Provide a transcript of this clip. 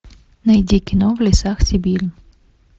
найди кино в лесах сибири